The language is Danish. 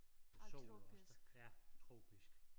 Sol og også ja tropisk